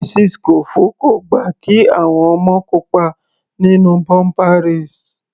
Mrs Kofo kò gbà kí àwọn ọmọ kópa nínú bumper race.